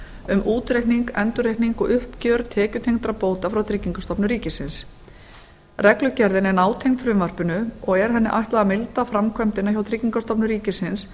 um útreikning endurreikning og uppgjör tekjutengdra bóta frá tryggingastofnun ríkisins reglugerðin er nátengd frumvarpinu og er henni ætlað að mynda framkvæmdina hjá tryggingastofnun ríkisins